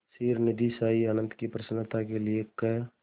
क्षीरनिधिशायी अनंत की प्रसन्नता के लिए क्